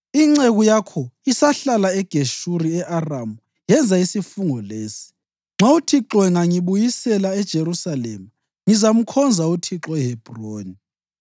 Inceku yakho isahlala eGeshuri e-Aramu, yenza isifungo lesi: ‘Nxa uThixo engangibuyisela eJerusalema ngizamkhonza uThixo eHebhroni.’ ”